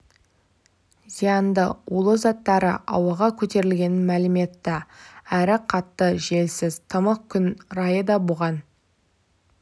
зиянды улы заттары ауаға көтерілгенін мәлім етті әрі қатты желсіз тымық күн райы да бұған